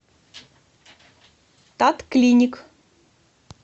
татклиник